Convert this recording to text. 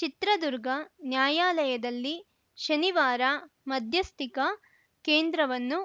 ಚಿತ್ರದುರ್ಗ ನ್ಯಾಯಾಲಯದಲ್ಲಿ ಶನಿವಾರ ಮಧ್ಯಸ್ಥಿಕಾ ಕೇಂದ್ರವನ್ನು